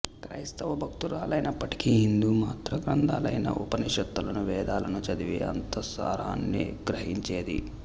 క్రైస్తవ భక్తురాలైనప్పటికీ హిందూ మతగ్రంథాలైన ఉపనిషత్తులను వేదాలను చదివి అంతఃసారాన్ని గ్రహించేది